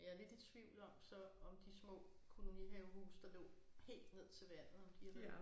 Jeg er lidt i tvivl om så om de små kolonihavehuse der lå helt ned til vandet om de er væk